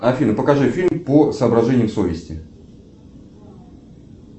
афина покажи фильм по соображениям совести